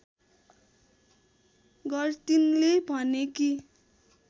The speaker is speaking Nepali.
गर्टिनले भने कि